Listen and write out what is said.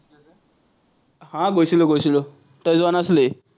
আহ গৈছিলো, গৈছিলো, তই যোৱা নাছিলি?